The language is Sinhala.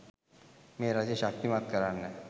මේ රජය ශක්තිමත් කරන්න